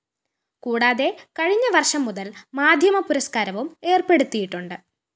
കൂടാതെ കഴിഞ്ഞ വര്‍ഷം മുതല്‍ മീഡിയ പുരസ്കാരവും ഏര്‍പ്പെടുത്തിയിട്ടുണ്ട്‌